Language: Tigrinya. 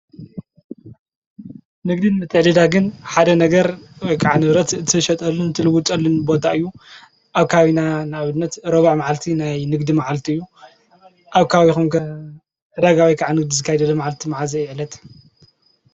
ንግድን ምትዕድዳግን ሓደ ነገር ወይ ንብረት ትሸጠሉን ትልውጠሉን ቦታ እዩ፡፡ ኣብ ከባቢና ንኣብነት ሮብዕ መዓልቲ ናይ ንግዲ መዓልቲ እዩ፡፡ ኣብ ከባቢኹም ከ ዕዳጋ ወይ ንግዲ ዝካየደሉ መዓልቲ መዓዘይ እዩ ዕለት?